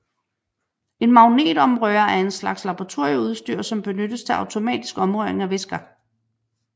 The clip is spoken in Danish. En magnetomrører er en slags laboratorieudstyr som benyttes til automatisk omrøring af væsker